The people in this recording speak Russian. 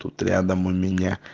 тут рядом у меня